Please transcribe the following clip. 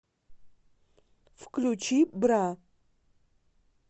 включи бра